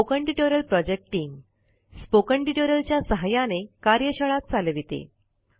spoken tutorial project team spoken tutorial च्या सहाय्याने कार्यशाळा चालविते